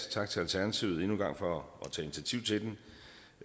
tak til alternativet endnu engang for